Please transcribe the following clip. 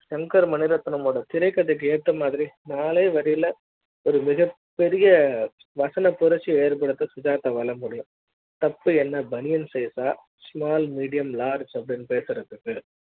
Shankar Maniratnam திரைக்கதை க்கு ஏத்த மாதிரி நாலே வரி யில ஒரு மிகப் பெரிய வசன புரட்சி யை ஏற்படுத்த சுஜாதா வாழ முடியாது தப்பு என்ன பனியன் size அ small medium large னு பேசுறதுக்கு